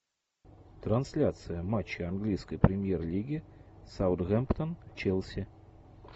трансляция матча английской премьер лиги саутгемптон челси